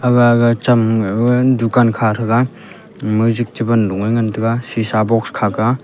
ga ga cham ngai ba dukan kha thega jik che ban lunge ngan tega sisa box kha kah aa.